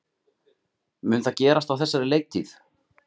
Mun það gerast á þessari leiktíð?